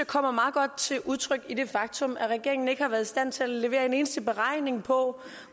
kommer til udtryk i det faktum at regeringen ikke har været i stand til at levere en eneste beregning på